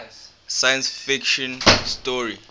science fiction story